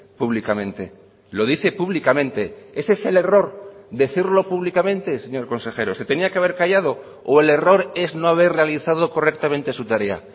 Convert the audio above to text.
públicamente lo dice públicamente ese es el error decirlo públicamente señor consejero se tenía que haber callado o el error es no haber realizado correctamente su tarea